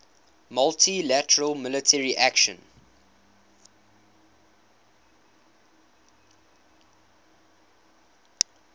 multi lateral military action